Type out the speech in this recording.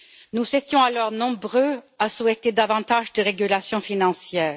Nous étions alors nombreux à souhaiter davantage de régulation financière.